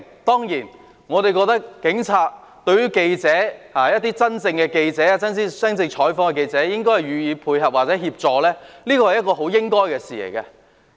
當然，我認為警察對記者——真正進行採訪的記者——應該予以配合或協助，這是應該做的事。